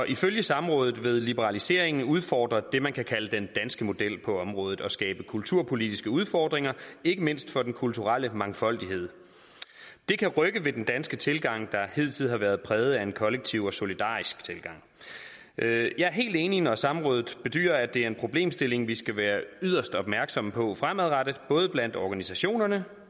ifølge samrådet vil liberaliseringen udfordre det man kan kalde den danske model på området og skabe kulturpolitiske udfordringer ikke mindst for den kulturelle mangfoldighed det kan rykke ved den danske tilgang der hidtil har været præget af en kollektiv og solidarisk tilgang jeg jeg er helt enig når samrådet bedyrer at det er en problemstilling vi skal være yderst opmærksomme på fremadrettet både blandt organisationerne